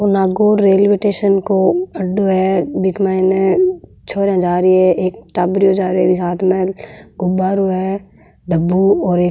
Nagaur railway station को अड्डों है बिक माइने छोरीया जा री है एक टाबरियो जा रेहो जीके हाथ में एक गुब्बरो है डब्बू और एक --